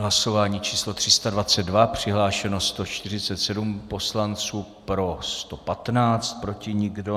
Hlasování číslo 322, přihlášeno 147 poslanců, pro 115, proti nikdo.